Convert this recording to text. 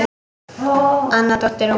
Anna dóttir Ómars.